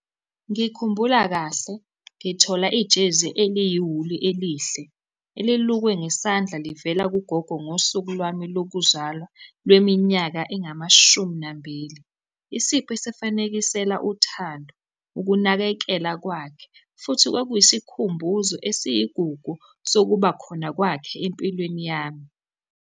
Ngikhumbula kahle ngithola ijezi eliyiwuli elihle, elibalulwe ngesandla livela kugogo ngosuku lwami lokuzalwa lweminyaka engamashumi nambili. Isipho esifanekisela uthando, ukunakekela kwakhe, futhi kwakuyisikhumbuzo esiyigugu sokuba khona kwakhe empilweni yami.